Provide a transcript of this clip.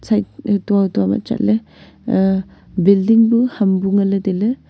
side hutua hutua ma chatle aa building buu ham bu nganle tailey.